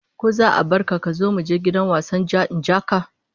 Ko za'a barka a gida muje wajen wasan ja-ni-in-ja-ka?